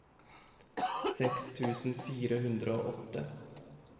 seks tusen fire hundre og åtte